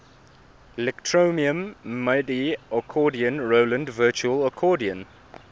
electronium midi accordion roland virtual accordion